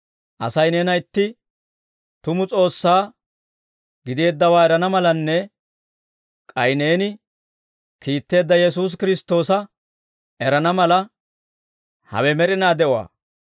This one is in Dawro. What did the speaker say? Asay neena itti tumu S'oossaa gideeddawaa erana malanne, k'ay neeni kiitteedda Yesuusi Kiristtoosa erana mala, hawe med'inaa de'uwaa.